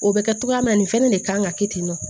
O bɛ kɛ togoya min na nin fana de kan ka kɛ ten tɔ